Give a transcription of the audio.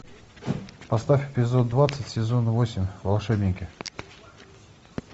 поставь эпизод двадцать сезона восемь волшебники